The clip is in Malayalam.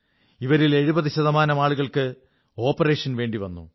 ഇവരിൽ 70 ശതമാനം ആളുകൾക്ക് ഓപ്പറേഷൻ വേണ്ടി വന്നു